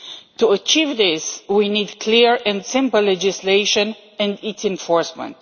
To achieve this we need clear and simple legislation and its enforcement.